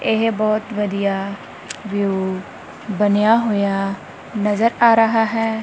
ਏਹ ਬੋਹੁਤ ਵਧੀਆ ਵਿਊ ਬਨੇਯਾ ਹੋਇਆ ਨਜ਼ਰ ਆ ਰਹਾ ਹੈ।